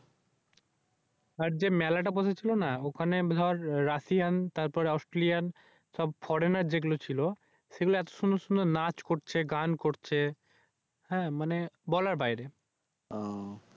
আর যে মেলাটা বসেছিল ওখানে দর রাশিয়ান তারপর আস্টেলিয়ান সব Foreigner যেগুলি ছিল এগুলি এত সুন্দর সুন্দর নাচ করছিল হ্যাঁ মানি বলার বাইরে।